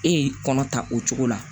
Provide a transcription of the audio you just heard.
E ye kɔnɔ ta o cogo la